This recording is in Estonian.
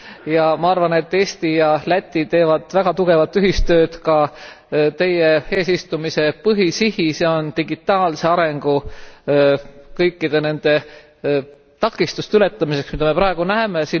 Ja ma arvan, et Eesti ja Läti teevad väga tugevat ühistööd ka teie eesistumise põhisihis ja digitaalse arengu kõikide nende takistuste ületamiseks, mida me praegu näeme.